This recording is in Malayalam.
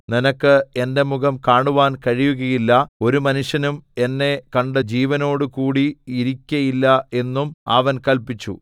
നിനക്ക് എന്റെ മുഖം കാണുവാൻ കഴിയുകയില്ല ഒരു മനുഷ്യനും എന്നെ കണ്ട് ജീവനോടുകൂടി ഇരിക്കയില്ല എന്നും അവൻ കല്പിച്ചു